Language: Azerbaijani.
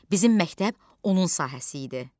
Bizim məktəb onun sahəsi idi.